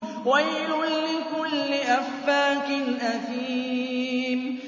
وَيْلٌ لِّكُلِّ أَفَّاكٍ أَثِيمٍ